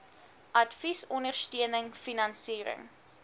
advies ondersteuning finansiering